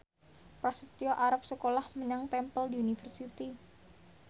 Prasetyo arep sekolah menyang Temple University